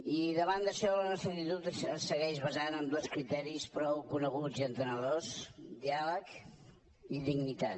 i davant d’això la nostra actitud es segueix basant en dos criteris prou coneguts i entenedors diàleg i dignitat